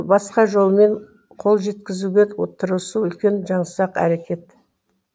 басқа жолмен қол жеткізуге тырысу үлкен жаңсақ әрекет